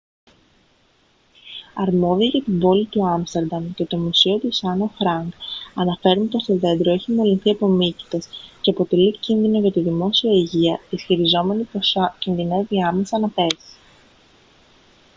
αρμόδιοι για την πόλη του άμστερνταμ και το μουσείο της άννα φρανκ αναφέρουν πως το δέντρο έχει μολυνθεί από μύκητες και αποτελεί κίνδυνο για τη δημόσια υγεία ισχυριζόμενοι πως κινδυνεύει άμεσα να πέσει